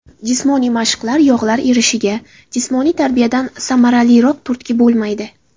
Jismoniy mashqlar Yog‘lar erishiga jismoniy tarbiyadan samaraliroq turtki bo‘lmaydi.